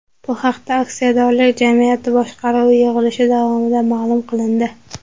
Bu haqda aksiyadorlik jamiyati boshqaruvi yig‘ilishi davomida ma’lum qilindi .